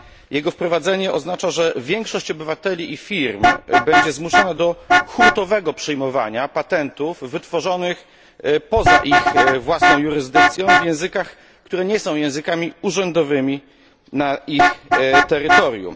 Jego wprowadzenie oznacza, że większość obywateli i firm będzie zmuszona do hurtowego przyjmowania patentów wytworzonych poza ich własną jurysdykcją w językach, które nie są językami urzędowymi na ich terytorium.